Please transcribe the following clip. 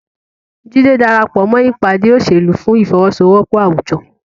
Jide darapọ̀ mọ́ ìpàdé òṣèlú fún ìfọwọ́sowọ́pọ̀ àwùjọ.